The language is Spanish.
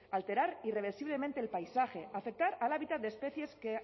alterar irreversiblemente el paisaje afectar al hábitat de especies que